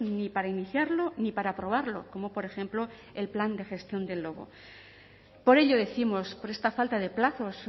ni para iniciarlo ni para aprobarlo como por ejemplo el plan de gestión del lobo por ello décimos por esta falta de plazos